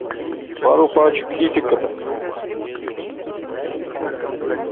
пару пачек китекета